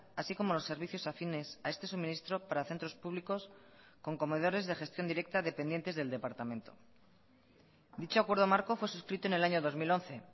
así como los servicios afines a este suministro para centros públicos con comedores de gestión directa dependientes del departamento dicho acuerdo marco fue suscrito en el año dos mil once